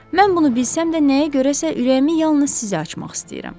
Mən bunu bilsəm də nəyə görəsə ürəyimi yalnız sizə açmaq istəyirəm.